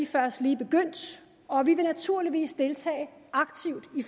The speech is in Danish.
først lige begyndt og vi vil naturligvis deltage aktivt i